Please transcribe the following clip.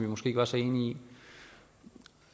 måske ikke var så enige i